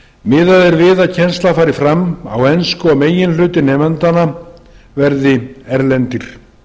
miðað er við að kennsla fari fram á ensku og meginhluti nemendanna verði erlendir